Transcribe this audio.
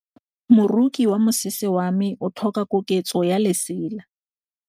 Moroki wa mosese wa me o tlhoka koketsô ya lesela.